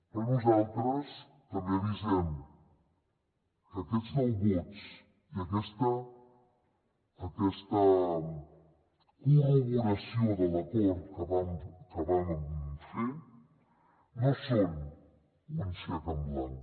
però nosaltres també avisem que aquests nou vots i aquesta corroboració de l’acord que vam fer no són un xec en blanc